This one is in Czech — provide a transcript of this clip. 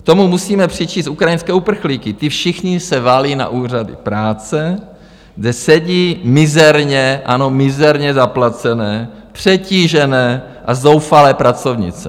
K tomu musíme přičíst ukrajinské uprchlíky, ti všichni se valí na úřady práce, kde sedí mizerně, ano, mizerně zaplacené, přetížené a zoufalé pracovnice.